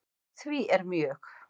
Því er mjög